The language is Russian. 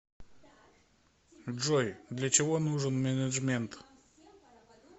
джой для чего нужен менеджмент